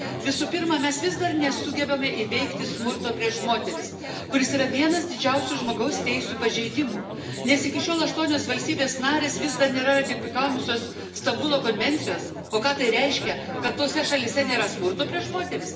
Visų pirma, mes vis dar nesugebame įveikti smurto prieš moteris, kuris yra vienas didžiausių žmogaus teisių pažeidimų, nes iki šiol aštuonios valstybės narės vis dar nėra ratifikavusios Stambulo konvencijos. O ką tai reiškia, kad tose šalyse nėra smurto prieš moteris?